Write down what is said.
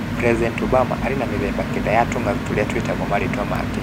President Obama arĩ na mĩthemba kenda ya tũng'aurũ tũrĩa twĩtagwo marĩĩtwa make.